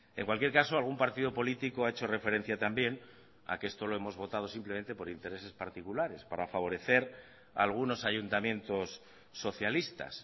en cualquier caso algún partido político ha hecho referencia también a que esto lo hemos votado simplemente por intereses particulares para favorecer algunos ayuntamientos socialistas